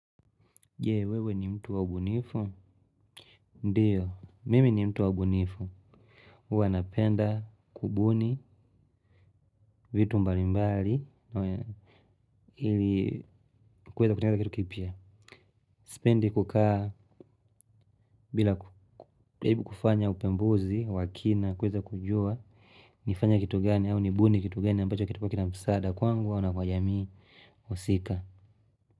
Je, wewe ni mtu wa ubunifu? Ndiyo, mimi ni mtu waubunifu. Huwa napenda kubuni, vitu mbalimbali, ili kuweza kutengeneza kitu kipya. Sipendi kukaa, bila kujaribu kufanya upembuzi, wa kina, kuweza kujua, nifanye kitu gani, au nibuni kitu gani, ambacho kitakuwa kina msaada, kwangu au na kwa jamii, husika.